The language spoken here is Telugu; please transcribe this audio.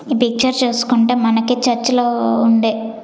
ఈ పిక్చర్ చూసుకుంటే మనకి చర్చిలో ఉండే--